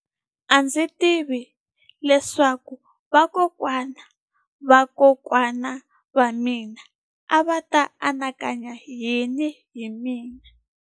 A ndzi tivi leswaku vakokwana-va-vakokwana va mina a va ta anakanya yini hi mina.